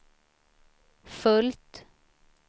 fullt